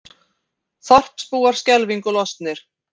Þorpsbúar skelfingu lostnir